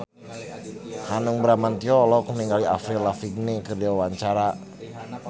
Hanung Bramantyo olohok ningali Avril Lavigne keur diwawancara